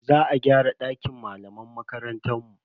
Za a gyara dakin malaman makarantar mu.